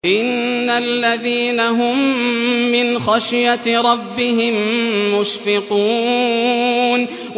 إِنَّ الَّذِينَ هُم مِّنْ خَشْيَةِ رَبِّهِم مُّشْفِقُونَ